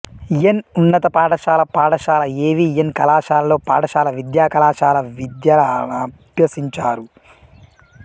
ఎన్ ఉన్నత పాఠశాల పాఠశాల ఎ వి ఎన్ కళాశాలలలో పాఠశాల విద్య కళాశాల విద్యలనభ్యసించారు